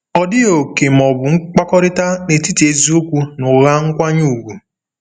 Ọ dịghị òkè ma ọ bụ mkpakọrịta n'etiti eziokwu na ụgha nkwanye ùgwù.